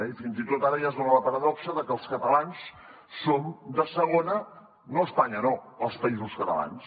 i fins i tot ara ja es dona la paradoxa de que els catalans som de segona no a espanya no als països catalans